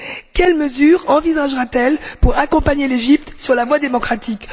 Quelles mesures envisagera t elle pour accompagner l'Égypte sur la voie démocratique?